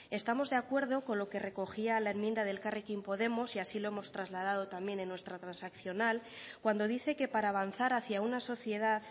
estamos de acuerdo con lo que recogía la enmienda de elkarrekin podemos y así lo hemos trasladado también en nuestra transaccional cuando dice que para avanzar hacia una sociedad